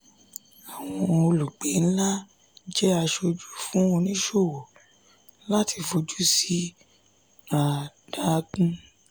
àwọn olùgbé ńlá je asoju fún oníṣòwò láti fojú sí àdágún.